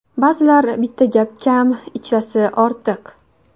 Ba’zilarga bitta gap kam, ikkitasi ortiq.